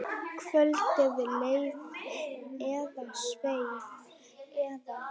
Kvöldið leið eða sveif eða.